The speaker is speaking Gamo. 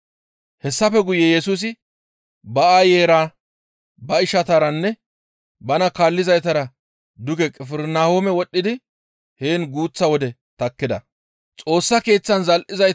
Hessafe guye Yesusi ba aayeyra ba ishataranne bana kaallizaytara duge Qifirnahoome wodhdhidi heen guuththa wode takkida.